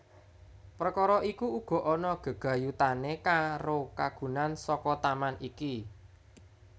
Perkara iku uga ana gegayutané karo kagunan saka taman iki